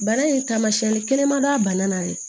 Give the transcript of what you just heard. Bana in taamasiyɛn kelen man d'a la dɛ